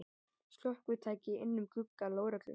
Slökkvitæki inn um glugga lögreglu